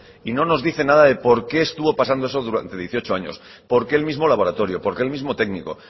y no nos dice nada de por qué estuvo pasando eso durante dieciocho años por qué el mismo laboratorio por qué el mismo técnico